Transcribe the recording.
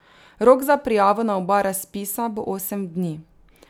Rok za prijavo na oba razpisa bo osem dni.